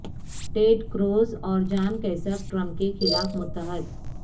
ٹیڈ Cruz اور John Kasich Trump کے خلاف متحد